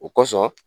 O kɔsɔn